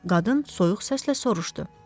Qadın soyuq səslə soruşdu.